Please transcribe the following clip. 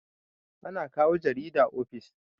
ana kawo jarida ofis